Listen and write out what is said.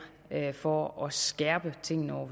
for at skærpe tingene over